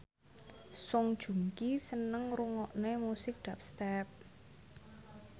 Song Joong Ki seneng ngrungokne musik dubstep